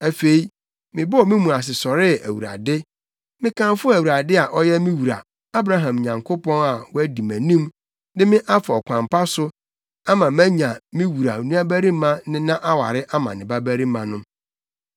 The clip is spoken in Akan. Afei, mebɔɔ me mu ase sɔree Awurade. Mekamfoo Awurade a ɔyɛ me wura, Abraham Nyankopɔn, a wadi mʼanim de me afa ɔkwan pa so, ama manya me wura nuabarima nena aware ama ne babarima no.